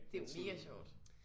Det er jo mega sjovt